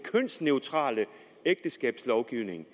kønsneutrale ægteskabslovgivning